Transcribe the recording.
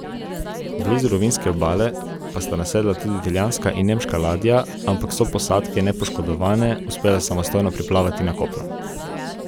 Blizu rovinjske obale pa sta nasedli tudi italijanska in nemška ladja, ampak so posadke, nepoškodovane, uspele samostojno priplavati na kopno.